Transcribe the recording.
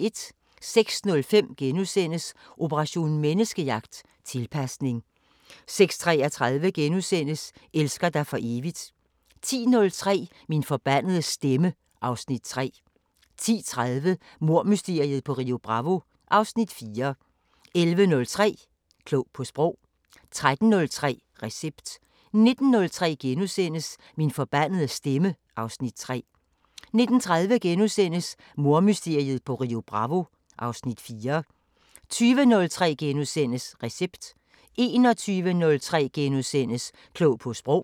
06:05: Operation Menneskejagt: Tilpasning * 06:33: Elsker dig for evigt * 10:03: Min forbandede stemme (Afs. 3) 10:30: Mordmysteriet på Rio Bravo (Afs. 4) 11:03: Klog på Sprog 13:03: Recept 19:03: Min forbandede stemme (Afs. 3)* 19:30: Mordmysteriet på Rio Bravo (Afs. 4)* 20:03: Recept * 21:03: Klog på Sprog *